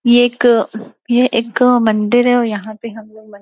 ये एक ये एक मंदिर है और यहां पे हम --